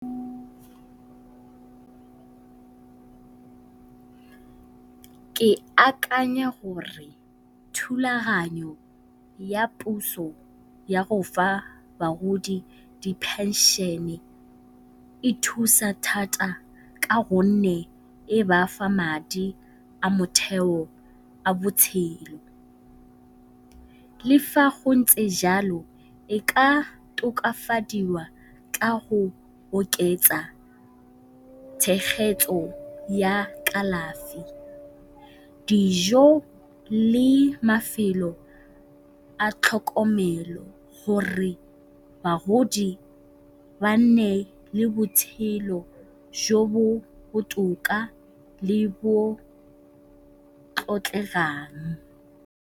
Ke akanya gore thulaganyo ya puso ya go fa bagodi di phenšene e thusa thata ka gonne e bafa madi a motheo, a botshelo. Le fa go ntse jalo e ka tokafadiwa ka go oketsa tshegetso ya kalafi, dijo le mafelo a tlhokomelo gore bagodi ba nne le botshelo jo bo botoka le bo .